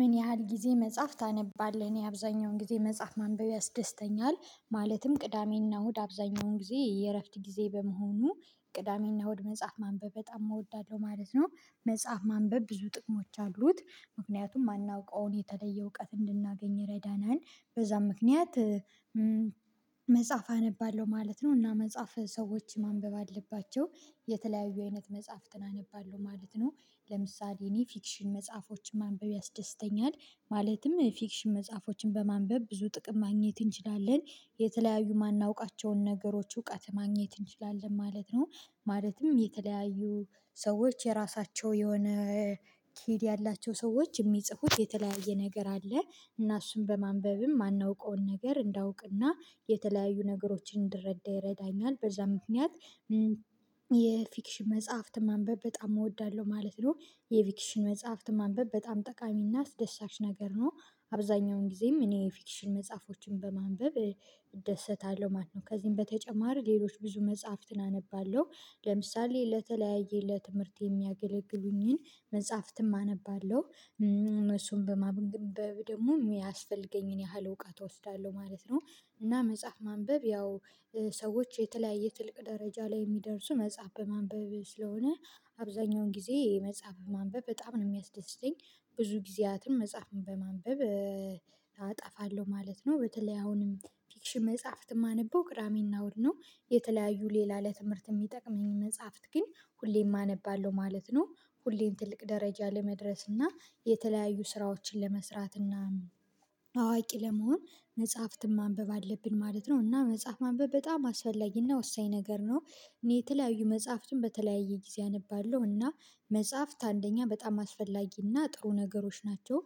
ምን ያህል ጊዜ መጽሐፍ ታነባለህ? እኔ አብዛኛውን ጊዜ መጽሐፍ ማንበብ ያስደስተኛል ማለትም ቅዳሜና እሁድ አብዛኛውን ጊዜ የእረፍት ጊዜ በመሆኑ ቅዳሜና እሁድ መጽሐፍ ማንበብ በጣም እወዳለሁ ማለት ነው። መጽሐፍ ማንበብ ብዙ ጥቅሞች አሉት ምክንያቱም ማናውቀውን የተለየ እውቀት እንድናገኝ ይረዳናል በዛም ምክንያት መጽሐፍ አነባለሁ ማለት ነው እና መጽሐፍ ሰዎች ማንበብ አለባቸው። የተለያዩ አይነት መጽሐፍትን አነባለሁ ማለት ነው ለምሳሌ እኔ ፊክሽን መጽሐፎችን ማንበብ ያስደስተኛል ማለትም ፊክሽን መጽሐፎችን በማንበብ ብዙ ጥቅም ማግኘት እንችላለን የተለያዩ ማናውቃቸውን ነገሮች እውቀት ማግኘት እንችላለን ማለት ነው። ማለትም የተለያዩ ሰዎች የራሳቸው የሆነ ክድ ያላቸው ሰዎች የሚጽፉት የተለያየ ነገር አለ እና እሱን በማንበብም ማናውቀውን ነገር እንዳውቅና የተለያዩ ነገሮችን እንድረዳ ይረዳኛል በዛ ምክንያት የፊክሽን መጽሐፍት ማንበብ በጣም እወዳለሁ ማለት ነው። የፊክሽን መጽሐፍት ማንበብ በጣም ጠቃሚና አስደሳች ነገር ነው። አብዛኛውን ጊዜም እኔ ፊክሽን መጽሐፎችን በማንበብ እደሰታለሁ ማለት ነው ከዚህም በተጨማር ሌሎች ብዙ መጽሐፍትን አነባለሁ ለምሳሌ ለተለያየ ለትምህርት የሚያገለግሉኝን መጽሐፍትም አነባለሁ። እሱን በማግኘት ደግሞ የሚያስፈልገኝን ያህል እውቀት እወስዳለሁ ማለት ነው። እና መጽሐፍ ማንበብ ያው ሰዎች የተለያየ ጥልቅ ደረጃ ላይ የሚደርሱ መጽሐፍ በማንበብ ስለሆነ አብዛኛውን ጊዜ የመጽሐፍ ማንበብ በጣም ነው የሚያስደስተኝ። ብዙ ጊዜያትን መጽሐፍን በማንበብ አጠፋለሁ ማለት ነው በተለይ አሁንም ፊክሽን መጽሐፍት የማነበው ቅዳመና እሁድ ነው። የተለያዩ ሌላ ለትምህርት የሚጠቅመኝ መጽሐፍት ግን ሁሌም አነባለሁ ማለት ነው። ሁሌም ትልቅ ደረጃ ለመድረስ እና የተለያዩ ስራዎችን ለመስራት እና አዋቂ ለመሆን መጽሐፍትን ማንበብ አለብን ማለት ነው እና መጽሐፍ ማንበብ በጣም አስፈላጊና ወሳኝ ነገር ነው። እኔ የተለያዩ መጽሐፍትን በተለያየ ጊዜ አነባለሁ እና መጽሐፍት አንደኛ በጣም አስፈላጊና ጥሩ ነገሮች ናቸው።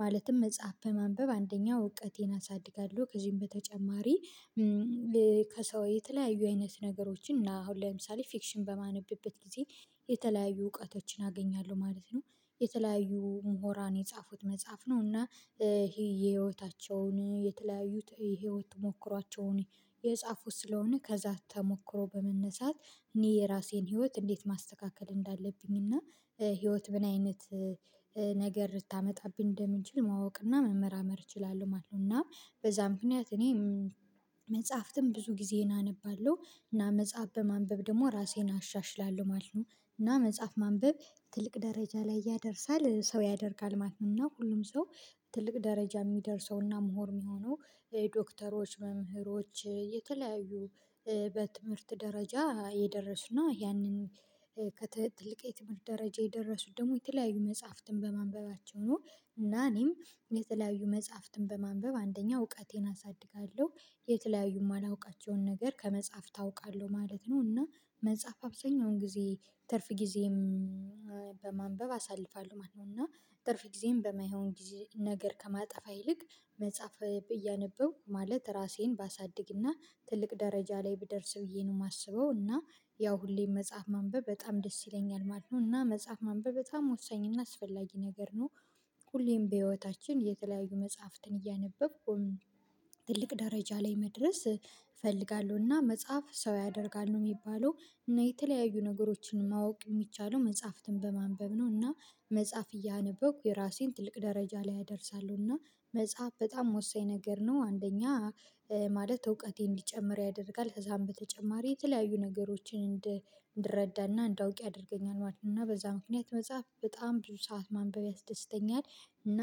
ማለትም መጽሐፍ ማንበብ አንደኛው እውቀቴን አሳድጋለሁ ከዚህም በተጨማሪ ከሰው የተለያዩ አይነት ነገሮችን እና አሁን ለምሳሌ ፊክሽን በማነብበት ጊዜ የተለያዩ እውቀቶችን አገኛለሁ ማለት ነው። የተለያዩ ምሁራን የጻፉት መጽሐፍ ነው እና ይሄ የህይወታቸውን የተለያዩት የህይወት ሞክሯቸውን የጻፉት ስለሆነ ከዛ አታሞክሮ በመነሳት እኔ የራሴን ህይወት እንዴት ማስተካከል እንዳለብኝ እና ህይወት ምን አይነት ነገር ልታመጣብን እንደምንችል ማወቅና መመርመር እችላለሁ ማለት ነው። እና በዛ ምክንያት እኔ መጽሐፍትም ብዙ ጊዜ እናነባለሁ እና መጽሐፍ በማንበብ ደግሞ ራሴን አሻሽላለሁ ማለት ነው። እና መጽሐፍ ማንበብ ትልቅ ደረጃ ላይ ያደርሳል ሰው ያደርጋል ማለት ነው እና ሁሉም ሰው ትልቅ ደረጃ ሚደርሰውና ምሁር የሚሆነው ዶክተሮች መምህሮች የተለያዩ በትምህርት ደረጃ የደረሱና ያንን ከትልቅ የትምህርት ደረጃ የደረሱት ደግሞ የተለያዩ መጽሐፍትን በማንበባቸው ነው። እና እኔም የተለያዩ መጽሐፍትን በማንበብ አንደኛ እውቀቴን አሳድጋለሁ የተለያዩ ማላውቃቸውን ነገር ከመጽሐፍ ታውቃለሁ ማለት ነው እና መጽሐፍ አብዛኛውን ጊዜ ትርፍ ጊዜም በማንበብ አሳልፋለሁ ማለት ነው። እና ጥርፍ ጊዜም በማይሆን ጊዜ ነገር ከማጠፋ ይልቅ መጽሐፍ ብዬ አነበው ማለት ራሴን ባሳድግና ትልቅ ደረጃ ላይ ብደርስ ብዬ ነው የማስበው እና ያው ሁሌም መጽሐፍ ማንበብ በጣም ደስ ይለኛል ማለት ነው እና መጽሐፍ ማንበብ በጣም ወሳኝ እና አስፈላጊ ነገር ነው። ሁሌም በህይወታችን የተለያዩ መጽሐፍትን እያነበብኩ ትልቅ ደረጃ ላይ መድረስ እፈልጋለሁና መጽሐፍ ሰው ያደርጋሉ የሚባለው የተለያዩ ነገሮችን ማወቅ የሚቻለው መጽሐፍትን በማንበብ ነው እና መጽሐፍ እያነበብኩ የራሴን ትልቅ ደረጃ ላይ አደርሳለሁና መጽሐፍ በጣም ወሳኝ ነገር ነው አንደኛ ማለት እውቀቴን እንዲጨምር ያደርጋል ከዛም በተጨማሪ የተለያዩ ነገሮችን እንድረዳና እንዳውቅ ያደርገኛል ማለት ነው። እና በዛ ምክንያት መጽሐፍ በጣም ብዙ ሰዓት ማንበብ ያስደስተኛል እና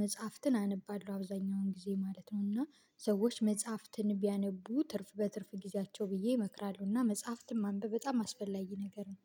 መጽሐፍትን አነባለሁ አብዛኛውን ጊዜ ማለት ነው እና ሰዎች መጽሐፍትን ቢያነቡ ትርፍ በትርፍ ጊዜያቸው ብዬ ይመክራሉና መጽሐፍትን ማንበብ በጣም አስፈላጊ ነገር ነው